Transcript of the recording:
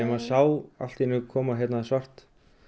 sá allt í einu koma svart